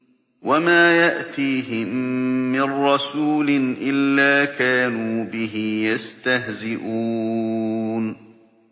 وَمَا يَأْتِيهِم مِّن رَّسُولٍ إِلَّا كَانُوا بِهِ يَسْتَهْزِئُونَ